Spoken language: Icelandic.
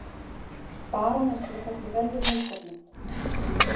Barónessu fellur vel við húsgögnin.